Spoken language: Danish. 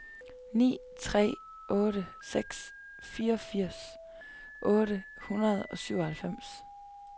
ni tre otte seks fireogfirs otte hundrede og syvoghalvfems